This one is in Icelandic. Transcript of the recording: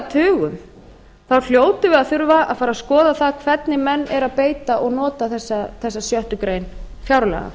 þá hljótum við að þurfa að fara að skoða það hvernig menn eru að beita og nota þessa sjöttu grein fjárlaga